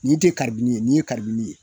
Ni tɛ karibini ye n'i ye kabinib ye.